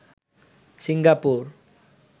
Singapore